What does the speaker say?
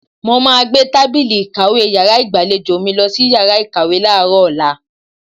Mo máa gbé tábìlì ìkàwé yàrá ìgbàlejò mi lọ sí yàrá ìkàwé láàárọ̀ ọ̀la.